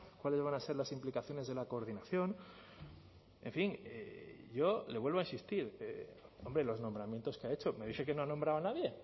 cuáles van a ser las implicaciones de la coordinación en fin yo le vuelvo a insistir hombre los nombramientos que ha hecho me dice que no ha nombrado a nadie